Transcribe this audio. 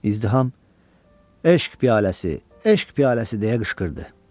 İzdiham "Eşq piyaləsi, eşq piyaləsi" deyə qışqırdı.